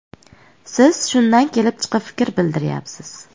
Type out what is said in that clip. Siz shundan kelib chiqib fikr bildiryapsiz.